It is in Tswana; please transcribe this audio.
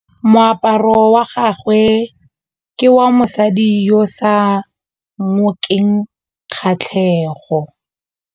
Moaparô wa gagwe ke wa mosadi yo o sa ngôkeng kgatlhegô.